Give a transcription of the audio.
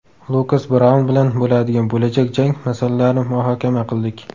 Lukas Braun bilan bo‘ladigan bo‘lajak jang masalalarini muhokama qildik.